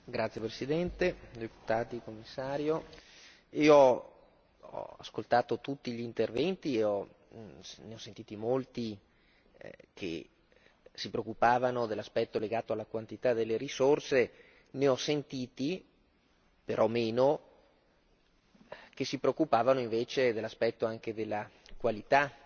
Signora Presidente, onorevoli deputati, Signor Commissario, io ho ascoltato tutti gli interventi, ne ho sentiti molti che si preoccupavano dell'aspetto legato alla quantità delle risorse. Ne ho sentiti, però meno, che si preoccupavano invece dell'aspetto della qualità